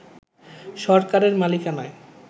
সরকারের মালিকানায়